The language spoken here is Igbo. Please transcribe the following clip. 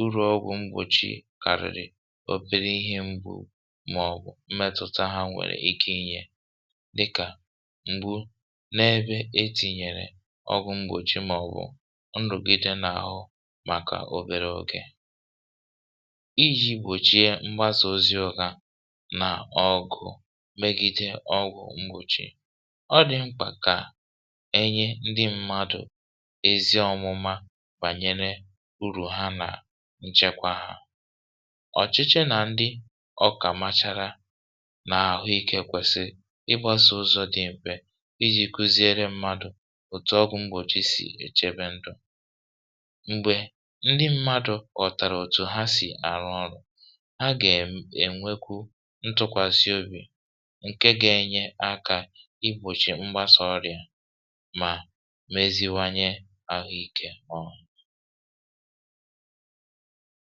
urù ọgwụ̀ mgbòchi kàrịrị metụ̀ta ha nwèrè ike inyė dịkà m̀gbu n’ebe e tìnyèrè ọgwụ̀ mgbòchi màọ̀bụ̀ nrụ̀gide n’àhụ màkà obere ogė iji̇ gbòchie mgbasà oziọ̇kȧ nà ọgụ̀ megide ọgwụ̀ mgbòchi ọ dị̀ mkpà kà enye ndị mmadụ̀ ezi ọ̀mụma gbànyere urù ha nà nchekwa hȧ um ọ̀chịchị nà ndị ọkà machara n’àhụikė kwesi ịgbȧ sọ̇ ụzọ̇ dị mkpè iji̇ kụziere mmadụ̀ òtù ọgwụ̇ mgbòchi sì èchebe ndụ̀ mgbè ndị mmadụ̇ kọ̀tàrà òtù ha sì àrụ ọrụ̇ ha gà-ènwekwu ntụkwasị obì ǹke ga-enye aka igbòchì mgbasọ ọrịà mà meziwanye àhụikė.